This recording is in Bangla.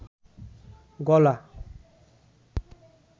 গলা